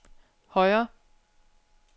højre